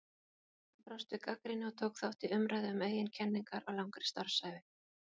Hann brást við gagnrýni og tók þátt í umræðu um eigin kenningar á langri starfsævi.